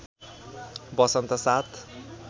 बसन्त ७